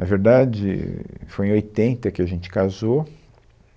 Na verdade, foi em oitenta que a gente casou,